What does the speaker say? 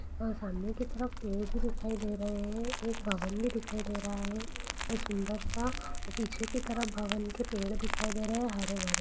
आ सामने की तरफ पेड़ भी दिखाई दे रहे है एक भवन भी दिखाई दे रहा है व सुंदर-सा पीछे की तरफ भवन के पेड़ दिखाई दे रहे है हरे-भरे---